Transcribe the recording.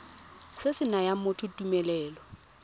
se se nayang motho tumelelo